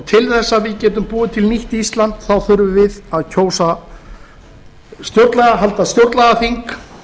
til þess að við getum búið til nýtt ísland þurfum við að halda stjórnlagaþing